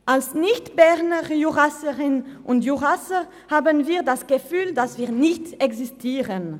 Als nicht Bernjurassierinnen und -jurassier haben wir das Gefühl, dass wir nicht existieren.